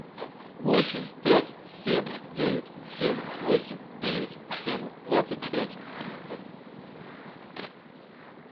восемь пять семь девять семь восемь девять семь двадцать пять